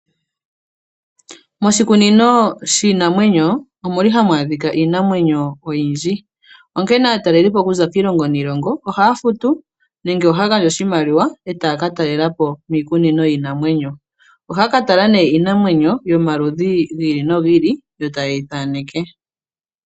Moshikunino shiinamwenyo omu li hamu adhika iinamwenyo oyindji. Onkene aatalelipo okuza kiilongo niilongo ohaya futu nenge ohaya gandja iimaliwa, etaya ka taalelapo miikununo yiinanwenyo . Ohaya katala iinamwenyo yomaludhi giili nogiili yo tayeyi thaneke.